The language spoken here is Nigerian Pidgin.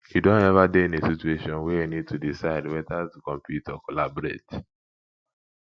you don ever dey in a situation where you need to decide whether to compete or collaborate